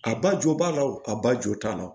A ba jo b'a la o a ba jo t'a la